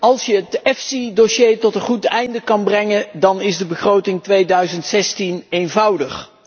Als je het EFSI dossier tot een goed einde kunt brengen, dan is de begroting 2016 eenvoudig.